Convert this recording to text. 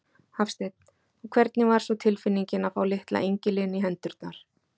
Hafsteinn: Og hvernig var svo tilfinningin að fá litla engilinn í hendurnar?